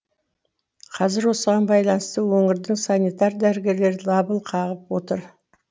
қазір осыған байланысты өңірдің санитар дәрігерлері дабыл қағып отыр